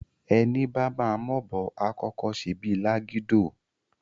Èní bá má m'òbò àkókó sé bí lágidó,